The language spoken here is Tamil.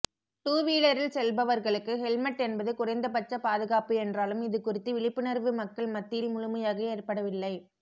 டூவிலரில் செல்பவர்களுக்கு ஹெல்மெட் என்பது குறைந்தபட்ச பாதுகாப்பு என்றாலும் இது குறித்து விழிப்புணர்வு மக்கள் மத்தியில் முழுமையாக ஏற்படவில்லை